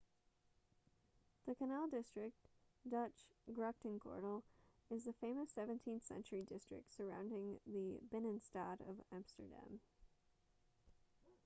the canal district dutch: grachtengordel is the famous 17th-century district surrounding the binnenstad of amsterdam